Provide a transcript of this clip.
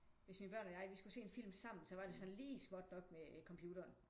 Hvis mine børn og jeg vi skulle se en film sammen så var det sådan lige småt nok med computeren